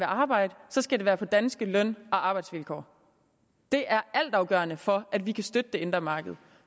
arbejde skal det være på danske løn og arbejdsvilkår det er altafgørende for at vi kan støtte det indre marked